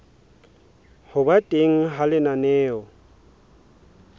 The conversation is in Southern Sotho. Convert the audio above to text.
ho ba teng ha lenaneo